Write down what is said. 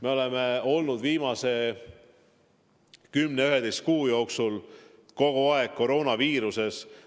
Me oleme olnud viimase 10–11 kuu jooksul kogu aeg koroonaviiruse mõju all.